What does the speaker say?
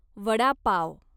vada pav